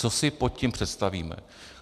Co si pod tím představíme?